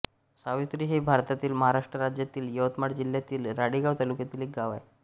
सावित्री हे भारतातील महाराष्ट्र राज्यातील यवतमाळ जिल्ह्यातील राळेगांव तालुक्यातील एक गाव आहे